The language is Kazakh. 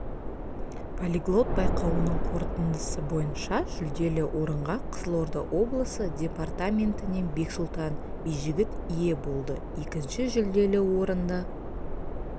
полиглот байқауының қорытындысы бойынша жүлделі орынға қызылорда облысы департаментінен бексұлтан бижігіт ие болды екінші жүлделі орынды